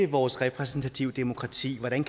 vores repræsentative demokrati hvordan